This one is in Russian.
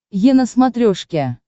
е на смотрешке